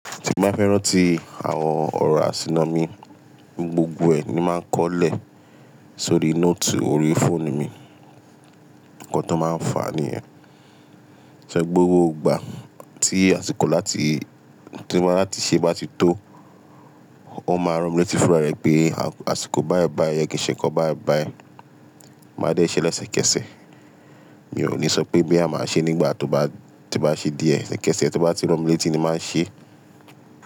Tí mo bá fẹ́ ràntí àwọn ọ̀rọ̀ àsìnà mi gbogbo ẹ̀ ni máa ń kọ́lẹ̀ sórí nóòtù orí fóònù mi. Ǹkan tó máa ń fà níyẹn. Ṣẹ́ gbogbo ìgbà tí àsìkò láti, tí mo bá láti ṣé bá ti tó, ó máa ranmílétí fúnra rẹ̀ pé àsìkò báyii báyii, oo ye kin ṣẹ̀ nnkan bayi báyi, máa dẹ́ṣẹ́ lẹ́sẹ̀kẹsẹ̀. Mi ò ní sọ pé boya máa ṣe nígbà tó bá, tí bá ṣe díẹ̀, ẹ́sẹ̀kẹsẹ̀ tí ó bá ti ranmílétí ni máa ṣe.